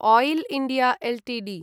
oil India Ltd